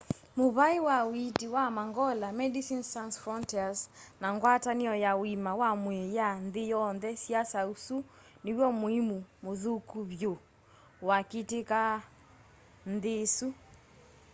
muvai wa uiiti wa mangola medicines sans frontieres na ngwatanio ya uima wa mwii ya nthi yonthe siasya usu niw'o muimu muthuku vyu waakitika nthi isu